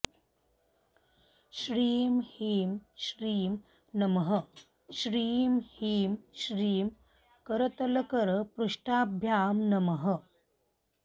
श्रीं ह्रीं श्रीं नमः श्रीं ह्रीं श्रीं करतलकरपृष्ठाभ्यां नमः